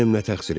Mənim nə təqsirim?